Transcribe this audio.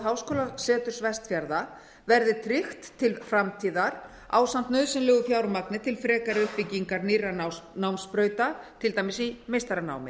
háskólaseturs vestfjarða verði tryggt til framtíðar ásamt nauðsynlegu fjármagni til frekari uppbyggingar nýrra námsbrauta til dæmis í meistaranámi